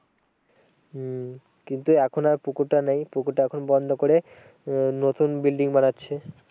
হম কিন্তু এখন আর পুকুরটা নেই পুকুরটা এখন বন্ধ করে আহ নতুন building বানাচ্ছে।